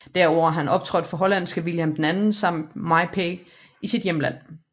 Derudover har han optrådt for hollandske Willem II samt MyPa i sit hjemland